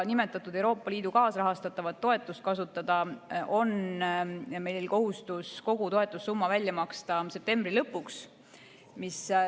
Euroopa Liidu kaasrahastatava toetuse kasutamiseks on meil kohustus kogu toetussumma välja maksta septembri lõpuks.